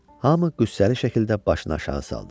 Hamı qüssəli şəkildə başını aşağı saldı.